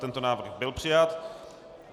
Tento návrh byl přijat.